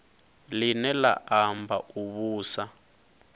line la amba u vhusa